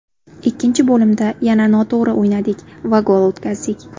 Ikkinchi bo‘limda yana noto‘g‘ri o‘ynadik va gol o‘tkazdik.